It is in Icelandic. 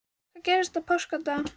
Hvað gerðist á páskadag?